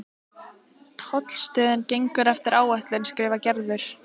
Tollstöðin gengur eftir áætlun skrifar Gerður.